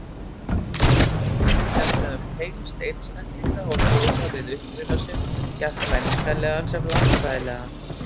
Ávarpið fjallaði um tengsl einstaklinga og þjóða við uppruna sinn, jafnt menningarlegan sem landfræðilegan.